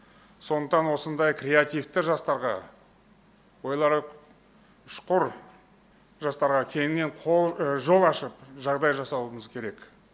сондықтан осындай креативті жастарға ойлары ұшқыр жастарға кеңінен жол ашып жағдай жасауымыз керек